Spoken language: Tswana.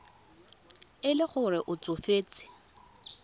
e le gore o tsofetse